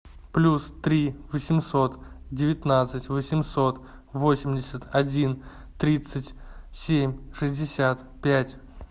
плюс три восемьсот девятнадцать восемьсот восемьдесят один тридцать семь шестьдесят пять